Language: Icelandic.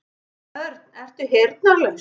Örn, ertu heyrnarlaus?